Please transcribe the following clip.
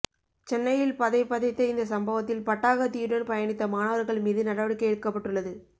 சென்னையில் பதை பதைத்த இந்த சம்பவத்தில் பட்டாகத்தியுடன் பயணித்த மாணவர்கள் மீது நடவடிக்கை எடுக்கப்பட்டுள்ளது